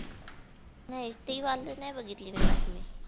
नाही ती वाली नाही बघितली मी बातमी